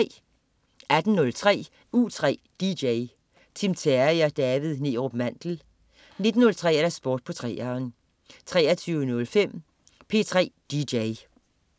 18.03 U3 DJ. Tim Terry og David Neerup Mandel 19.03 Sport på 3'eren 23.05 P3 DJ